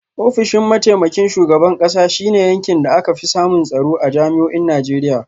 Ofishin mataimakin shugaban kasa shi ne yankin da aka fi samun tsaro a jami’o’in Najeriya.